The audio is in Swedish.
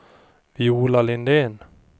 Viola Lindén